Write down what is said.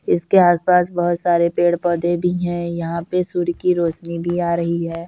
इसके आस-पास बहुत सारे पेड़ पौधे भी है यहाँ पे सूरज की रौशनी भी आ रही है।